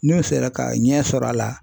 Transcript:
N'u sera ka ɲɛ sɔrɔ a la